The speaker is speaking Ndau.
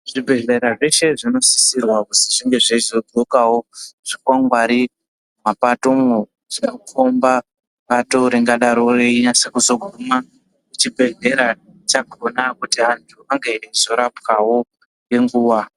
Zvibhedhlera zveshe zvinosisirwa kuzi ,zvinge zveizodxokawo zvikwangwari, mumapatomwo zvinokhomba pato ringadaro reibaazonyase kuguma kuchibhedhlera chakhona, kuti antu ange eizorapwawo ngenguwa.